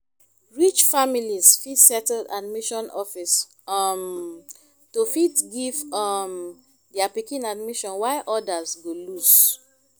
rich families fit settle admission office um to fit give um their pikin admission while odas go loose